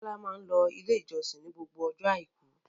Bọ́lá máa ń lọ Ilé-ìjọsìn ní gbogbo ọjọ́ àìkú.